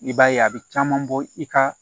I b'a ye a bɛ caman bɔ i ka